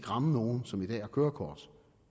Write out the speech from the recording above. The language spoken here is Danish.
ramme nogen som i dag har kørekort